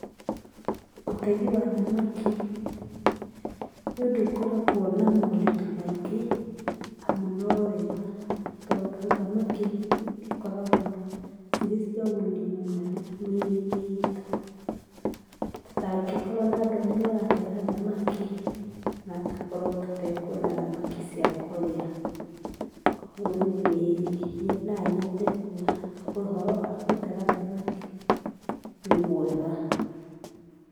Ũtegi wa thamaki, nĩũndũ ũkoragwo na moritũ maingĩ amu no wega tondũ thamaki ikoragwo cirĩ cia ũguni mũnene mĩrĩ-inĩ itũ, tũtangĩkorwo na andũ arĩa maratega thamaki no tũkorwo tũtekuona thamaki cia kũrĩa, kwoguo niĩ nĩ nonyende kuga ũhoro wa gũtega thamaki nĩ mwega.